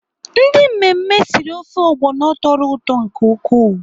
Ndị mmemme siri ofe ogbono tọrọ ụtọ nke ukwuu.